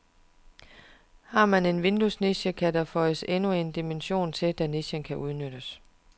Har man en vinduesniche, kan der føjes endnu en dimension til, da nichen kan udnyttes.